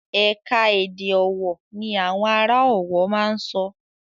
Ẹ̀ka-èdè ọ̀wọ̀ ní àwọn ará Ọ̀wọ̀ máa ń sọ.